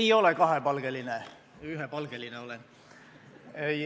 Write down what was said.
Ei ole kahepalgeline, ühepalgeline olen.